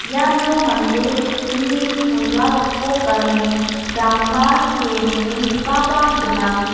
iano mande sakgni chola gipok gane dama kee dongenggipa gnang.